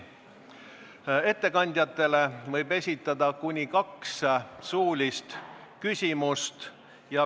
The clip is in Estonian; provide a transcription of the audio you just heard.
Ettekandjatele võib esitada kuni kaks suulist küsimust.